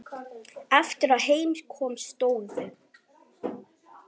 Eftir að heim kom stóðu